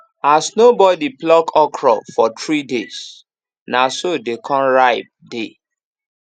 as nobody pluck okra for three days na so dey con ripe dey